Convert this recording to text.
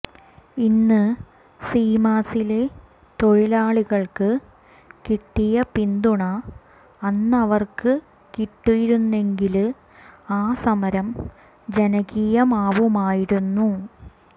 ഇന്ന് സീമാസിലെ തൊഴിലാളികള്ക്ക് കിട്ടിയ പിന്തുണ അന്നവര്ക്ക് കിട്ടിയിരുന്നെങ്കില് ആ സമരം ജനകീയമാവുമായിരുന്നു